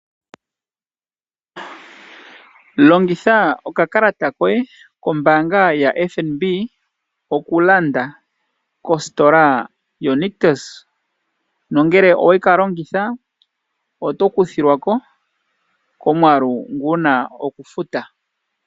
Longitha okakalata koye kombaanga yaFNB okulanda kositola yoNictus, nongele owe ka longitha, oto kuthilwa ko komwaalu ngu wuna okufuta.